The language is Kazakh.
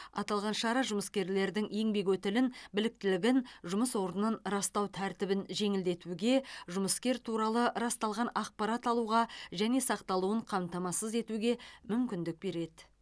аталған шара жұмыскерлердің еңбек өтілін біліктілігін жұмыс орнын растау тәртібін жеңілдетуге жұмыскер туралы расталған ақпарат алуға және сақталуын қамтамасыз етуге мүмкіндік береді